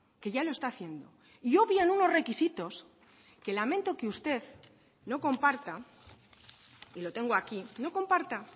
que ya lo está haciendo y obvian unos requisitos que lamento que usted no comparta y lo tengo aquí no comparta